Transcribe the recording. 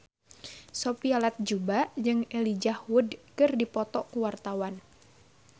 Sophia Latjuba jeung Elijah Wood keur dipoto ku wartawan